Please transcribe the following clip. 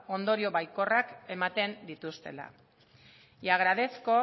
ondorio baikorrak ematen dituztela y agradezco